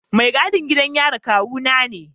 Mai gadin gidan yarin kawuna ne.